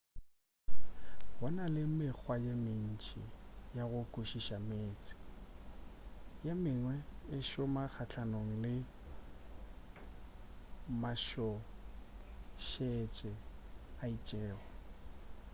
go na le mekgwa ye mentši ya go hlwekiša meetse ye mengwe e šoma kgahlanong le matšhošetše a itšego